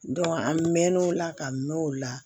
an mɛ mɛn'o la ka mɛn o la